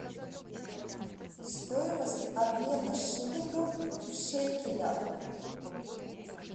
стоимость обмена шиллингов в шекелях